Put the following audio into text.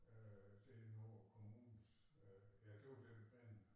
Øh det inden under kommunens øh ja det var den plan